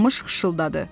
Qamış xışıltıdadı.